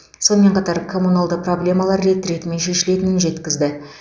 сонымен қатар коммуналды проблемалар рет ретімен шешілетінін жеткізді